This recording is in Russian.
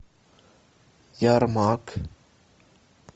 ермак